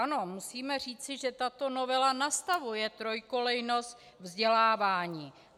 Ano, musíme říci, že tato novela nastavuje trojkolejnost vzdělávání.